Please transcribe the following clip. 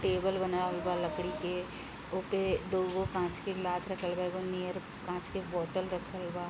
Table बनावल बा लकड़ी के ओ पे दूगो काँच के गिलास रखल बा एगो नियर कांच के बॉटल रखल बा।